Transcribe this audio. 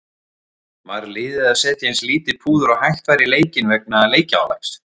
Var liðið að setja eins lítið púður og hægt var í leikinn vegna leikjaálags?